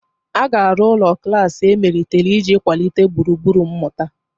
A ga-arụ ụlọ klas emelitere iji kwalite gburugburu mmụta.